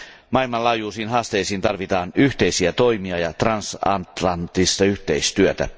Maailmanlaajuisiin haasteisiin tarvitaan yhteisiä toimia ja transatlanttista yhteistyötä.